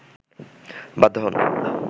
বাধ্য হন